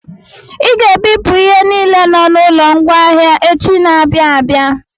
I ga-ebupụ ihe niile nọ n'ụlọ ngwaahịa echi na-abịa abịa!